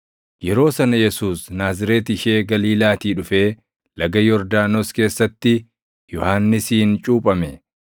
Yeroo sana Yesuus Naazreeti ishee Galiilaatii dhufee Laga Yordaanos keessatti Yohannisiin cuuphame.